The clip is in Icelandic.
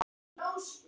Hí, hí.